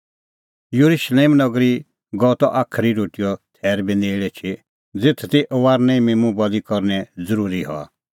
येरुशलेम नगरी गअ त साज़ी रोटीओ थैर बी नेल़ एछी ज़ेथ दी फसहेओ मिम्मूं बल़ी करनअ ज़रूरी हआ त